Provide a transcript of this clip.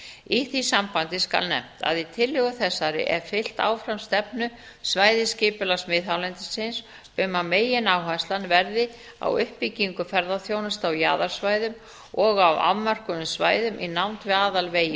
í því sambandi skal nefnt að í tillögu þessari er fylgt áfram stefnu svæðisskipulags miðhálendisins um að megináherslan verði á uppbyggingu ferðaþjónustu á jaðarsvæðum og á afmörkuðum svæðum í nánd við aðalvegi